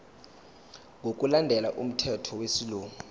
ngokulandela umthetho wesilungu